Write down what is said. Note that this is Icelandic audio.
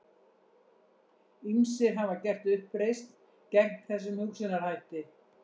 Ýmsir hafa gert uppreisn gegn þessum hugsunarhætti.